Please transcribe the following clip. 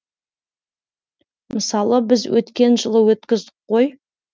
мысалы біз өткен жылы өткіздік қой